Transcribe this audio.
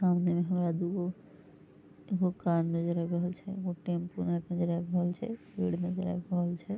सामने हमरा दुगो एगो कार नजर आब रहल छै एगो टेंपू नजर आब रहल छै पेड़ नजर आब रहल छै।